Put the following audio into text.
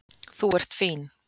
Þú ert fín.